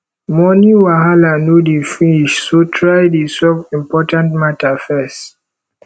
moni wahala no dey finish so try dey solve important mata first